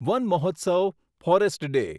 one મહોત્સવ forest day